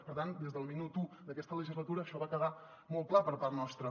per tant des del minut u d’aquesta legislatura això va quedar molt clar per part nostra